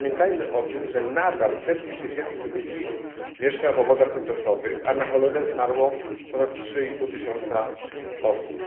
Pamiętajmy o tym, że nadal setki tysięcy ludzi mieszka w obozach tymczasowych, a na cholerę zmarło ponad 3,5 tysiąca osób.